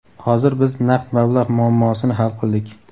Hozir biz naqd mablag‘ muammosini hal qildik.